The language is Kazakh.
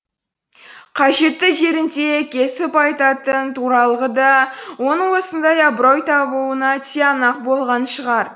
қажетті жерінде кесіп айтатын туралығы да оның осындай абырой табуына тиянақ болған шығар